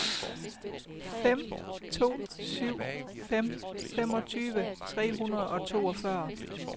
fem to syv fem femogtyve tre hundrede og toogfyrre